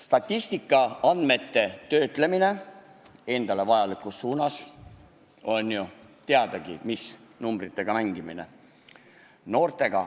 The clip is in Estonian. Statistikaandmete töötlemine endale vajalikus suunas on teadagi numbritega mängimine.